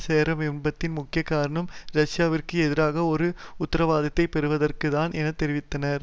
சேர விரும்புவதின் முக்கிய காரணம் ரஷ்யாவிற்கு எதிராக ஒரு உத்தரவாதத்தைப் பெறுவதற்கு தான் என தெரிவித்தார்